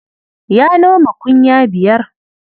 Ya noma kunya biyar.